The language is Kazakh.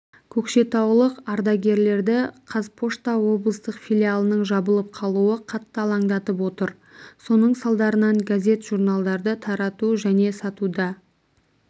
көкшетаулық ардагерлерді қазпошта облыстық филиалының жабылып қалуы қатты алаңдатып отыр соның салдарынан газет-журналдарды тарату және сатуда